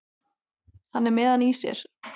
Hann er með hann í sér.